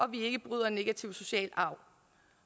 vi ikke bryder negativ social arv